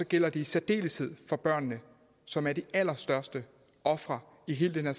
gælder i særdeleshed for børnene som er de allerstørste ofre i hele den